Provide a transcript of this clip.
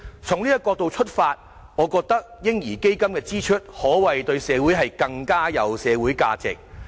從這個角度出發，我覺得"嬰兒基金"的支出對社會可謂更有價值。